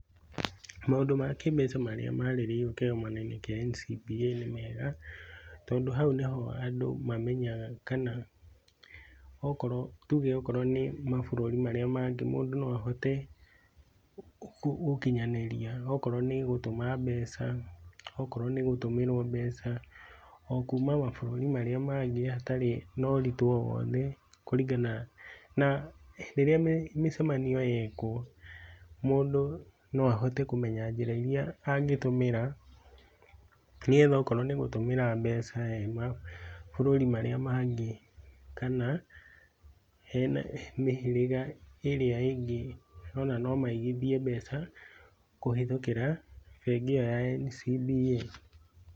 Maũndũ ma kĩĩmbeca marĩa marĩrĩirio kĩgomanoinĩ kĩa NCBA nĩ mega, tondũ hau nĩ ho andũ mameyaga kana okorwo, tuge okorwo nĩ mabũrũri marĩa mangĩ mũndũ no ahote, gũkinyanĩria akorwo nĩ gũtũma mbeca, okorwo nĩ gũtũmĩrwo mbeca, okuma mabũrũri marĩa mangĩ hatarĩ noritũ o wothe, kũringana na rĩrĩa mĩ mĩcemanio yekwo, mũndũ no ahote kũmenya njĩra iria angĩtũmĩra nĩgetha okorwo nĩ gũtũmĩra mbeca, e mabũrũri marĩa mangĩ, kana, hena mĩhĩriga ĩrĩa ĩngĩ ona no maigithie mbeca kũhithũkĩra mbengi ĩyo ya NCBA.